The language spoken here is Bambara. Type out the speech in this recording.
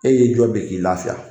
E y'i jɔ de k'i lafiya.